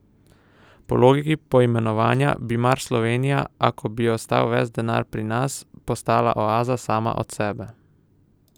Po logiki poimenovanja, bi mar Slovenija, ako bi ostal ves ta denar pri nas, postala oaza sama od sebe?